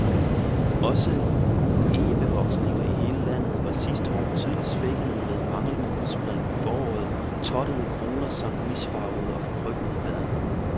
Også egebevoksninger i hele landet var sidste år tydeligt svækkede med manglende udspring i foråret, tottede kroner samt misfarvede og forkrøblede blade.